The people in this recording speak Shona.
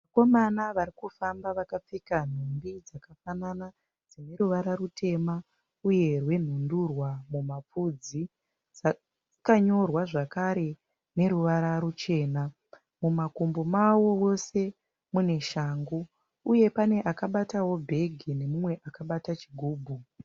Vakomana varikufamba vakapfeka mhumbi dzakafanana, dzineruvara rutema uye rwenhundurwa mumafudzi. Dzakanyorwa zvakare neruvara rwuchena. Mumakumbo mavo vose mune shangu, uyewo pane akabata bhegi nemumwe akabata chigubhu.